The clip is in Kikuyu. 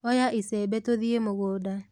Oya icembe tuthiĩ mũngũnda.